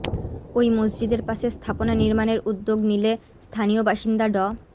ওই মসজিদের পাশে স্থাপনা নির্মাণের উদ্যোগ নিলে স্থানীয় বাসিন্দা ড